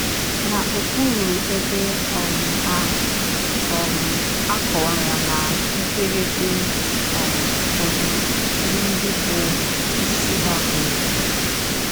N’ọkpụrụ ebe um a, um a kọwara ná mkpirikpi um ụfọdụ ihe ndị bụ́ isi ha kweere.